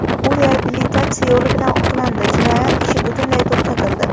U reabilitatsiya yo‘li bilan oqlandi, jinoyat ishi butunlay to‘xtatildi.